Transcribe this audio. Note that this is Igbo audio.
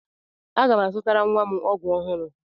Aga m azụtara nwa m ọgwụ ọhụrụ.